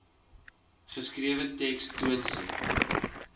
geskrewe teks toonset